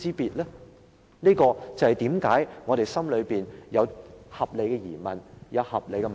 主席，這就是為何我們心裏有合理的疑問。